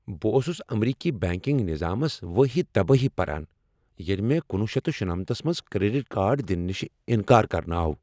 بہٕ اوسُس امریكی بینكِنگ نِظامس وٲہی تبٲہی پران ییلہِ مےٚ کُنوُہ شیتھ شُنمتھ منٛز کریڈٹ کارڈ دنہٕ نش انکار کرنہٕ آو۔